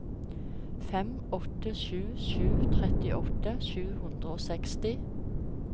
fem åtte sju sju trettiåtte sju hundre og seksti